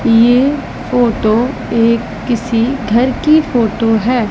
ये फोटो एक किसी घर की फोटो है।